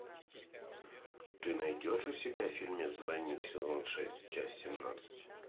ты найдешь у себя фильмец двойник сезон шесть часть семнадцать